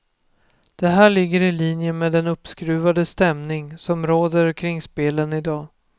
Det här ligger i linje med den uppskruvade stämning som råder kring spelen i dag.